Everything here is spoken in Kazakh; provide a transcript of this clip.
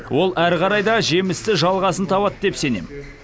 ол әрі қарай да жемісті жалғасын табады деп сенем